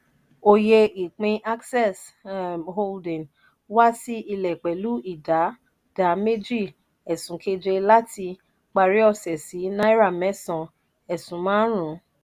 oyè ìpín access um holding wá sí ilé pẹlu idà dà méjì esun keje làti parí ose sì náírà mẹsan esun marun